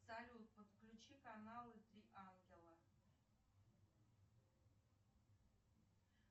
салют подключи каналы три ангела